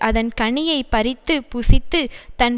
அதன் கனியைப் பறித்து புசித்து தன்